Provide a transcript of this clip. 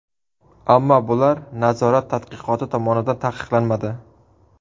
Ammo bular nazorat tadqiqoti tomonidan tasdiqlanmadi.